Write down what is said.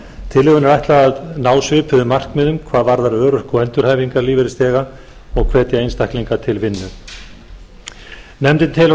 tillögunni er ætlað að ná svipuðum markmiðum hvað varðar örorku og endurhæfingarlífeyrisþega og hvetja einstaklinga til vinnu nefndin telur að